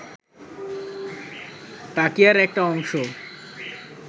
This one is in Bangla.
তাকিয়ার একটা অংশ